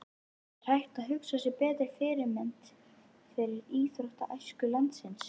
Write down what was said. Er hægt að hugsa sér betri fyrirmynd fyrir íþróttaæsku landsins?